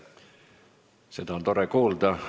Seda on tore kuulda.